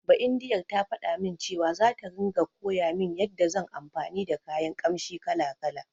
Baindiyar ta faɗa min cewa, zata ringa koya min yanda zan anfani da kayan ƙamshi kala-kala.